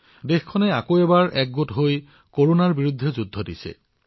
দেশবাসী পুনৰ একত্ৰিত হৈছে আৰু কৰোনাৰ বিৰুদ্ধে যুঁজ দিছে